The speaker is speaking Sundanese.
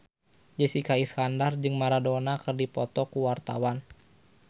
Jessica Iskandar jeung Maradona keur dipoto ku wartawan